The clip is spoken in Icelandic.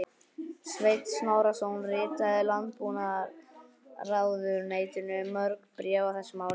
Sveinn Snorrason ritaði Landbúnaðarráðuneytinu mörg bréf á þessum árum.